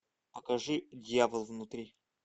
покажи дьявол внутри